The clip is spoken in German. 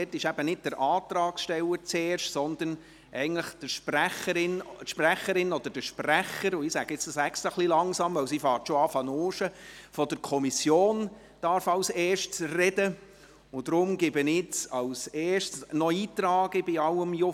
dort darf eben nicht der Antragsteller zuerst sprechen, sondern eigentlich der Sprecher oder die Sprecherin der Kommission – und ich sage dies jetzt extra ein bisschen langsam, denn sie beginnt schon, in ihren Unterlagen zu wühlen.